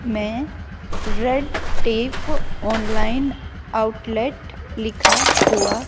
मैं red tape online outlet लिखा हुआ--